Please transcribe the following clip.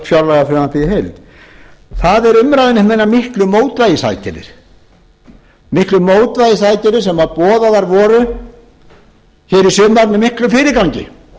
fjárlagafrumvarpið í heild það er umræðan um hinar miklu mótvægisaðgerðir sem boðaðar voru hér í sumar með miklum fyrirgangi